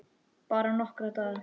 Bara nokkra daga.